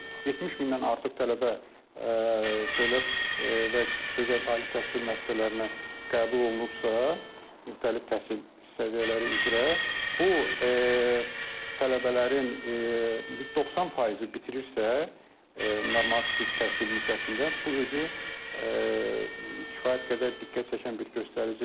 70 mindən artıq tələbə dövlət və özəl ali təhsil müəssisələrinə qəbul olunubsa, müxtəlif təhsil səviyyələri üzrə, bu tələbələrin 90 faizi bitirirsə normativ təhsil müddətində, bu özü kifayət qədər diqqət çəkən bir göstəricidir.